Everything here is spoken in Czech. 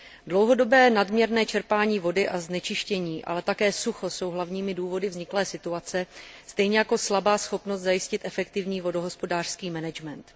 Dlouhodobé nadměrné čerpání vody a znečištění, ale také sucho jsou hlavními důvody vzniklé situace stejně jako slabá schopnost zajistit efektivní vodohospodářský management.